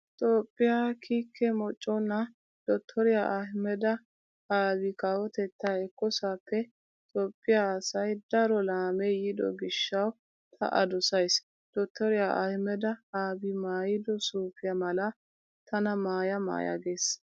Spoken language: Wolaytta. Toophphiyaa kiike moconaa dottoriyaa Ahimada Abi kawotettaa ekkoosappe Toophphiyaasai daro laamee yiido gishshawu ta A dosays. Dottoriyaa Ahimada Abi maayido suufiyaa mala tana maaya maaya gees.